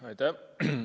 Aitäh!